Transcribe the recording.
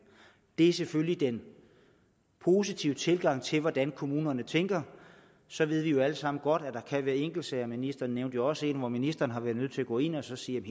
det er selvfølgelig den positive tilgang til hvordan kommunerne tænker så ved vi jo alle sammen godt at der kan være enkeltsager og ministeren nævnte jo også selv en hvor ministeren har været nødt til at gå ind og sige